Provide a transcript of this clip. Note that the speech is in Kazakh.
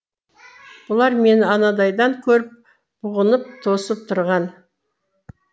бұлар мені анадайдан көріп бұғынып тосып тұрған